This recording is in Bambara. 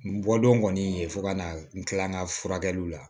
N bɔ don kɔni fo ka na n kila n ka furakɛliw la